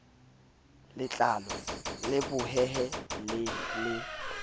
letlalo le bohehe le le